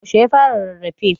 yaushe ya fara rarrafe?